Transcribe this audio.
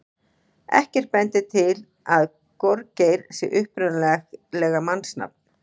Ekkert bendir til að gorgeir sé upprunalega mannsnafn.